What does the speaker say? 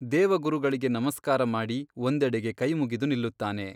ದೇವಗುರುಗಳಿಗೆ ನಮಸ್ಕಾರ ಮಾಡಿ ಒಂದೆಡೆಗೆ ಕೈಮುಗಿದು ನಿಲ್ಲುತ್ತಾನೆ.